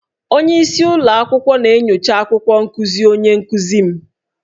Onye isi ụlọ akwụkwọ na-enyocha akwụkwọ nkuzi onye nkuzi m